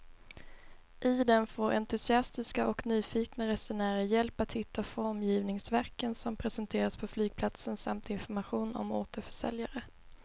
I den får entusiastiska och nyfikna resenärer hjälp att hitta formgivningsverken som presenteras på flygplatsen samt information om återförsäljare.